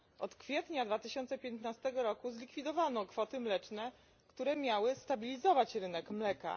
Od kwietnia 2015 roku zlikwidowano kwoty mleczne, które miały stabilizować rynek mleka.